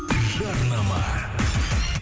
жарнама